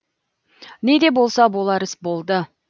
не де болса болар іс болды